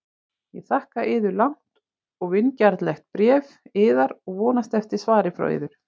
Ég þakka yður langt og vingjarnlegt bréf yðar og vonast eftir svari frá yður.